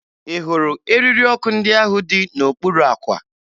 Ị hụrụ eriri ọkụ ndị ahụ dị n'okpuru àkwà?